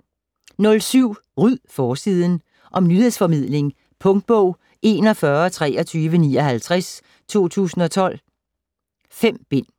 07 Ryd forsiden! Om nyhedsformidling. Punktbog 412359 2012. 5 bind.